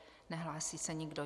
Nehlásí se nikdo.